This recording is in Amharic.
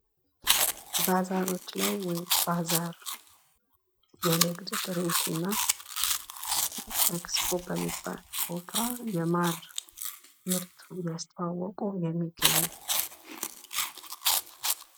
ባዛሮች ላይ ወይም ባዛር የንግድ ትርኢት እና አክስፖ በሚባል ቦታ የማር ምርት እያስተዋወቁ የሚገኝበት።